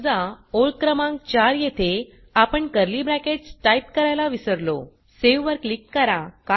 समजा ओळ क्रमांक 4 येथे आपण कर्ली ब्रॅकेट्स टाइप करायला विसरलो सावे वर क्लिक करा